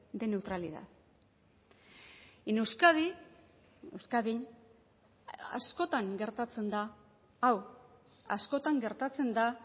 de neutralidad en euskadi euskadin askotan gertatzen da hau askotan gertatzen da